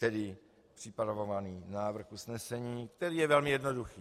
Tedy připravovaný návrh usnesení, který je velmi jednoduchý.